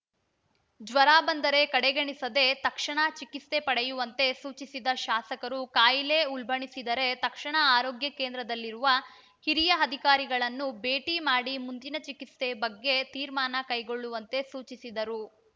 ಜ್ವರ ಬಂದರೆ ಕಡೆಗಣಿಸದೆ ತಕ್ಷಣ ಚಿಕಿತ್ಸೆ ಪಡೆಯುವಂತೆ ಸೂಚಿಸಿದ ಶಾಸಕರು ಕಾಯಿಲೆ ಉಲ್ಭಣಿಸಿದರೆ ತಕ್ಷಣ ಆರೋಗ್ಯ ಕೇಂದ್ರದಲ್ಲಿರುವ ಹಿರಿಯ ಅಧಿಕಾರಿಗಳನ್ನು ಭೇಟಿ ಮಾಡಿ ಮುಂದಿನ ಚಿಕಿತ್ಸೆ ಬಗ್ಗೆ ತೀರ್ಮಾನ ಕೈಗೊಳ್ಳುವಂತೆ ಸೂಚಿಸಿದರು